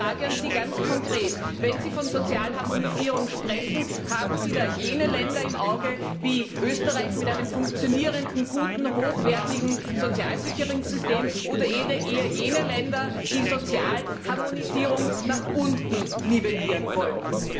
Meine Frage an Sie ganz konkret Wenn Sie von Sozialharmonisierung sprechen, haben Sie da jene Länder im Auge wie Österreich, mit einem funktionierenden, guten, hochwertigen Sozialsicherungssystem, oder eher jene Länder, die Sozialharmonisierung nach unten nivellieren wollen?